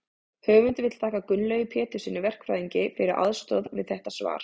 höfundur vill þakka gunnlaugi péturssyni verkfræðingi fyrir aðstoð við þetta svar